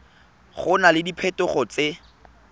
go na le diphetogo tse